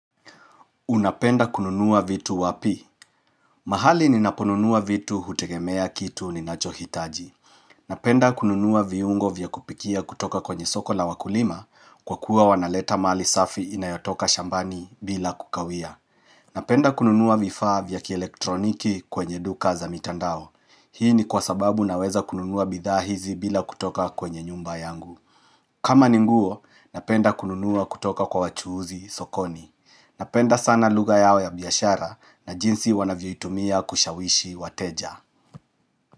Unapenda kununuwa vitu wapi? Mahali ninaponunuwa vitu hutegemea kitu ninachohitaji. Napenda kununuwa viungo vya kupikia kutoka kwenye soko na wakulima kwa kuwa wanaleta mali safi inayotoka shambani bila kukawia. Napenda kununua vaifa vya kielektroniki kwenye duka za mitandao. Hii ni kwa sababu naweza kununuwa bidhaa hizi bila kutoka kwenye nyumba yangu. Kama ni nguo, napenda kununuwa kutoka kwa wachuuzi sokoni. Napenda sana lugha yao ya biyashara na jinsi wanavyo itumia kushawishi wateja.